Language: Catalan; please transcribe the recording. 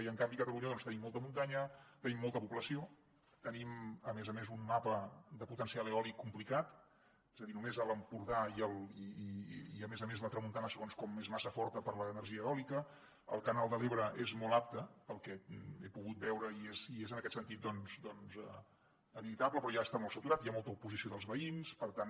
i en canvi a catalunya doncs tenim molta muntanya tenim molta població tenim a més a més un mapa de potencial eòlic complicat és a dir només a l’empordà i a més a més la tramuntana segons com és massa forta per a l’energia eòlica el canal de l’ebre és molt apte pel que he pogut veure i és en aquest sentit doncs habitable però ja està molt saturat hi ha molta oposició dels veïns per tant